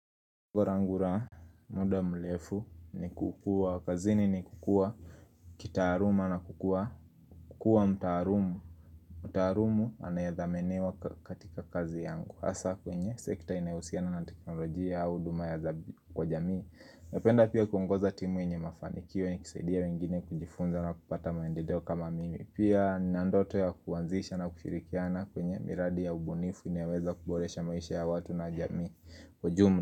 Ngurangura, muda mrefu ni kukuwa, kazini ni kukuwa, kitaaluma na kukua, kukua mtaarumu. Mtaarumu anae dhaminiwa katika kazi yangu hasa kwenye sekta inayohusiana na teknolojia au huduma kwa jamii napenda pia kuongoza timu yenye mafanikio nikisaidia wengine kujifunza na kupata maendeleo kama mimi. Pia nina ndoto ya kuanzisha na kushirikiana kwenye miradi ya ubunifu inayo weza kuboresha maisha ya watu na jamii ujumla.